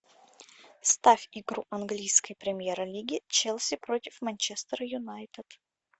ставь игру английской премьер лиги челси против манчестер юнайтед